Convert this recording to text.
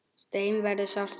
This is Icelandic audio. Steina verður sárt saknað.